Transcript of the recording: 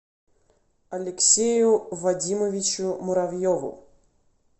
алексею вадимовичу муравьеву